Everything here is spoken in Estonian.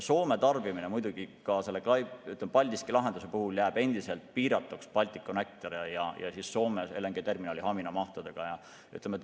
Soome tarbimine muidugi ka selle Paldiski lahenduse puhul jääb endiselt piiratuks Balticconnectori ja Soome LNG-terminali Hamina mahtudega.